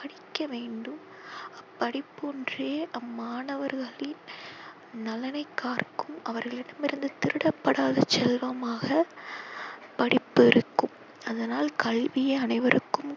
படிக்க வேண்டும். படிப்பொன்றே அம்மாணவர்களின் நலனை காற்கும். அவர்களிடமிருந்து திருடப்படாத செல்வமாக படிப்பு இருக்கும். அதனால் கல்வியை அனைவருக்கும்